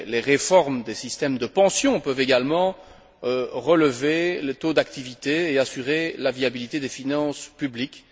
Les réformes des systèmes de pension peuvent également relever le taux d'activité et assurer la viabilité des finances publiques.